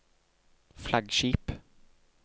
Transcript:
flaggskip